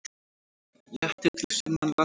Léttir til sunnanlands í dag